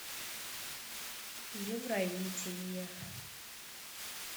евровидение